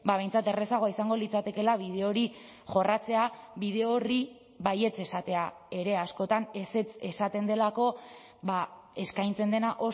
behintzat errazagoa izango litzatekeela bide hori jorratzea bide horri baietz esatea ere askotan ezetz esaten delako eskaintzen dena